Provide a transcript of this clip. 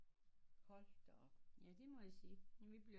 Hold da op